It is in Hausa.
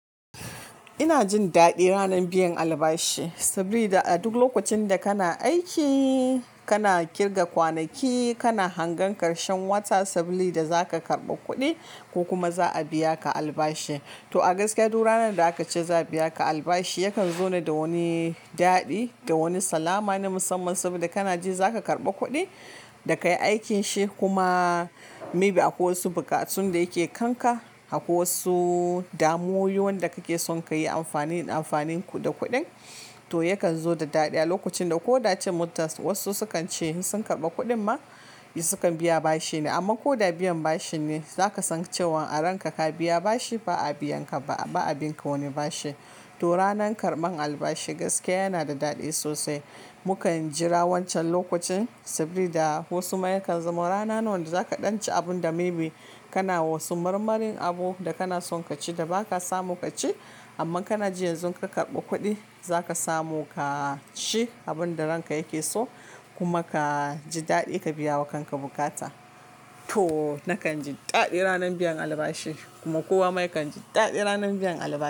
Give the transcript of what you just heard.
Ina jin daɗi ranar biyan albashi, sabida a duk lokacin da kana aiki, kana ƙirga kwanaki, kana hangen ƙarshen wata sabida zaka karɓi kuɗi ko kuma za a biya ka albashi. To a gaskiya duk ranar da aka ce za a biya ka albashi yakan zo da wani daɗi, da wani salama na musamman saboda kana ji za ka karɓa kuɗin da kayi aikin shi kuma maybe akwai wasu buƙatu da yake kanka, akwai wasu damuyoyi wanda kake son kayi amfani da kuɗin. To, yakan zo da daɗi a lokacin da. Ko da cin mutaz wasu sukan ce sun karɓi kuɗin ma sukan biya bashi ne amma ko da biyan bashin ne zaka san cewan a ranka ka biya bashi ba a biya ka ba a bin ka wani bashi. To, ranar karɓan albashi gaskiya yana da daɗi sosai. Mukan jira wancan lokacin saboda wasu ma yakan zama rana nawa da zaka ɗanci abun da maybe kana wasu marmarin abu da kana son ka ci da ba ka samu ka ci amma kana jin yanzu ka karɓa kuɗi zaka samu ka ci abun da ranka yake so kuma ka ji daɗi ka biya wa kanka bukata. To, nakan ji daɗi ranar biyan albashi kuma kowa ma yakan ji daɗi ranar biyan albashi.